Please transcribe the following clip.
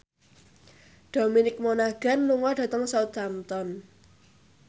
Dominic Monaghan lunga dhateng Southampton